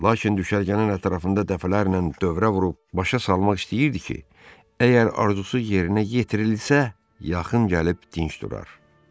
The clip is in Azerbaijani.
Lakin düşərgənin ətrafında dəfələrlə dövrə vurub başa salmaq istəyirdi ki, əgər arzusu yerinə yetirilsə, yaxın gəlib dinç durar.